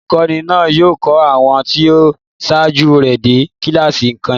Olùkọ́ní náà yóò kọ́ àwọn tí ó ṣáájú rẹ̀ dé kíláàsì nìkan.